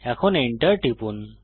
এখন Enter টিপুন